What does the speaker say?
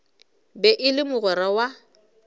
be e le mogwera wa